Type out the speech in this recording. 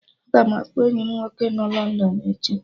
Aga m akpọ enyi m nwoke nọ London echi